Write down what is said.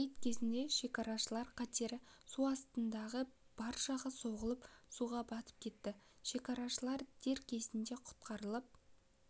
рейд кезінде шекарашылар катері су астындағы баржаға соғылып суға батып кетті шекарашылар дер кезінде құтқарылып